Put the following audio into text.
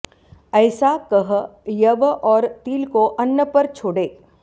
ऐसा कह यव और तिल को अन्न पर छोड़े